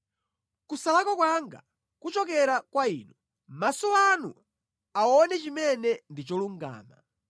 Kusalakwa kwanga kuchokera kwa inu; maso anu aone chimene ndi cholungama.